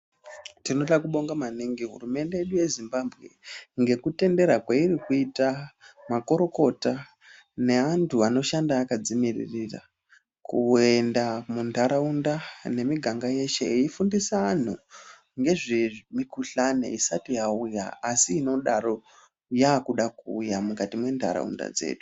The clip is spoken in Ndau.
Tinoda kubonga maningi hurumende yedu yeZimbabwe ngekutendera kweirikuita makurukota neantu anoshanda akadzimiririra kuenda muntaraunda nemiganga yeshe eifundisa anhu ngezvemukhuhlane isati yauya asi inodaro yakuda kuuya mukati mwentaraunda dzedu.